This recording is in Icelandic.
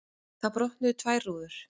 Þá brotnuðu tvær rúður.